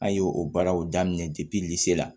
An ye o baaraw daminɛ se la